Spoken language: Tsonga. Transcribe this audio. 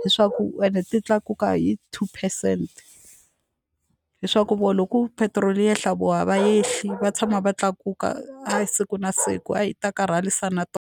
leswaku ende ti tlakuka hi two percent leswaku vona loko petiroli yi ehla voho a va yehli va tshama va tlakuka a siku na siku hayi ta karhalisa na .